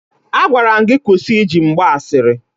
Agwara m gị kwụsị iji m gba asịrị!